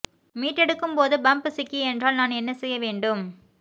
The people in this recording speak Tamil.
மீட்டெடுக்கும் போது பம்ப் சிக்கி என்றால் நான் என்ன செய்ய வேண்டும்